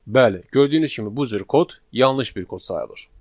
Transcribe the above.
Bəli, gördüyünüz kimi bu cür kod yanlış bir kod sayılır.